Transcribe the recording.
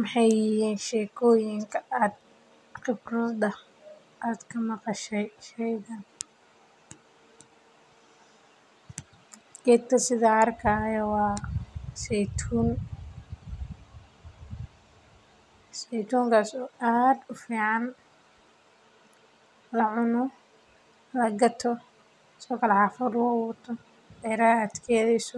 Maxaay muhiim utahay sababta oo ah waxeey ledahay faaidoyin badan oo somaliyeed waxeey qimeyan arooska inta badan waxaa kamid ah in la helo waye sida loo isticmaalo